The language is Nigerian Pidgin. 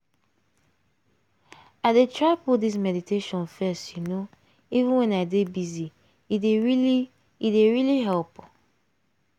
i dey try put this meditation first you know even when i dey busy- e dey really e dey really help.